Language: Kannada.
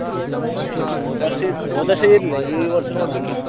ಅದೇ ಹೋದ್ ವರ್ಷ ಇ~ ಹೋದ್ ವರ್ಷ ಇರ್ಲಿಲ್ಲ ಈ ವರ್ಷ ನೋಡ್ಬೇಕು ಇನ್ನು.